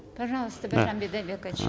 пожалуйста биржан бидайбекович